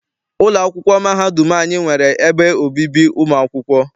Ụlọ akwụkwọ mahadum anyị nwere ebe obibi ụmụ akwụkwọ.